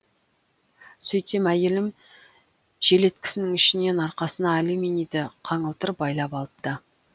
сөйтсем әйелім желеткісінің ішінен арқасына алюминді қаңылтыр байлап алыпты